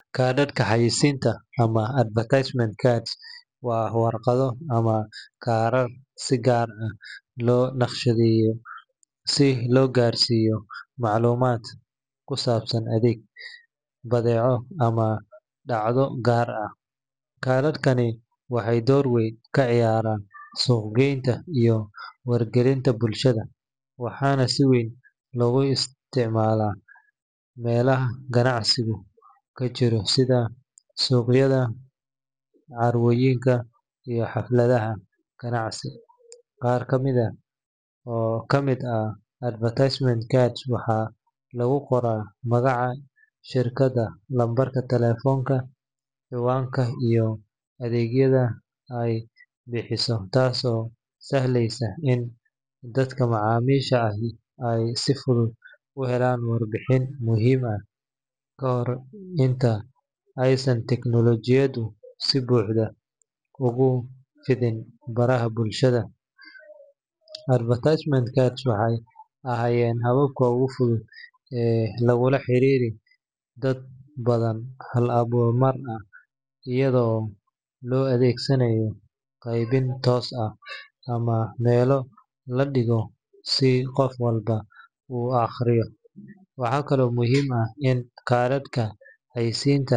Kaadhadhka xayeysiinta ama advertisement cards waa warqado ama kaarar si gaar ah loo nashqadeeyo si loo gaarsiiyo macluumaad ku saabsan adeeg, badeeco ama dhacdo gaar ah. Kaadhadkani waxay door weyn ka ciyaaraan suuq-geynta iyo wargelinta bulshada, waxaana si weyn loogu isticmaalaa meelaha ganacsigu ka jiro sida suuqyada, carwooyinka, iyo xafladaha ganacsi. Qaar badan oo ka mid ah advertisement cards waxaa lagu qoraa magaca shirkadda, lambarka taleefanka, ciwaanka, iyo adeegyada ay bixiso, taas oo sahlaysa in dadka macaamiisha ahi ay si fudud u helaan warbixin muhiim ah. Ka hor inta aysan tiknoolajiyadu si buuxda ugu fidin baraha bulshada, advertisement cards waxay ahaayeen habka ugu fudud ee lagula xiriiro dad badan hal mar, iyada oo loo adeegsanayo qaybin toos ah ama meelo la dhigo si qof walba u akhriyo. Waxa kale oo muhiim ah in kaadhadhka xayeysiinta.